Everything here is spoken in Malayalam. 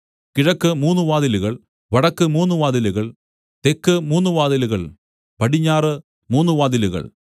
കിഴക്ക് മൂന്നു വാതിലുകൾ വടക്കു മൂന്നു വാതിലുകൾ തെക്ക് മൂന്നു വാതിലുകൾ പടിഞ്ഞാറു മൂന്നു വാതിലുകൾ